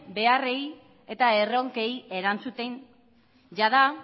beharrei eta erronkei erantzuten jada